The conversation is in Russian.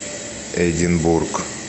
эдинбург